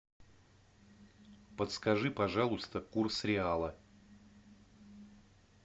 подскажи пожалуйста курс реала